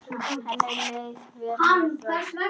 Henni leið vel með það.